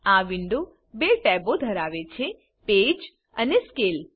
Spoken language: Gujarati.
આ વિન્ડો બે ટેબો ધરાવે છે પેજ અને સ્કેલ